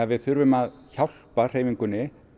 við þurfum að hjálpa hreyfingunni